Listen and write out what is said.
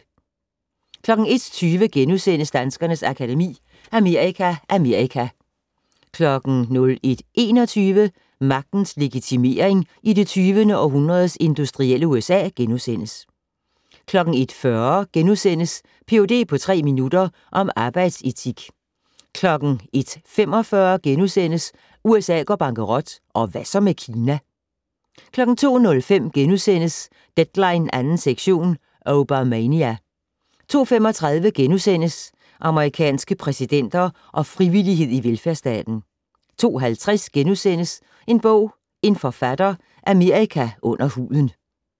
01:20: Danskernes Akademi: Amerika Amerika * 01:21: Magtens legitimering i det 20. århundredes industrielle USA * 01:40: Ph.d. på tre minutter -om arbejdsetik * 01:45: USA går bankerot - Hvad så med Kina? * 02:05: Deadline 2. sektion - Obamania! * 02:35: Amerikanske præsidenter og frivillighed i velfærdsstaten * 02:50: En bog - en forfatter: Amerika under huden *